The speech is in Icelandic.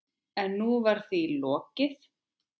En nú var því lokið.